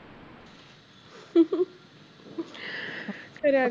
ਕਰਿਆ